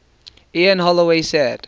ian holloway said